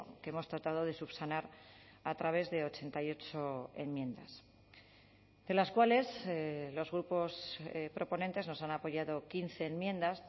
que hemos tratado de subsanar a través de ochenta y ocho enmiendas de las cuales los grupos proponentes nos han apoyado quince enmiendas